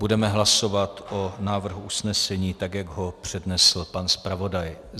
Budeme hlasovat o návrhu usnesení, tak jak ho přednesl pan zpravodaj.